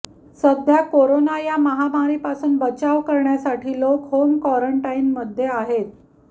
सध्या कोरोना या महामारीपासून बचाव करण्यासाठी लोक होम क्वारंटाईनमध्ये आहेत